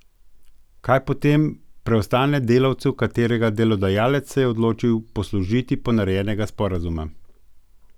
Kaj potem preostane delavcu, katerega delodajalec se je odločil poslužiti ponarejenega sporazuma?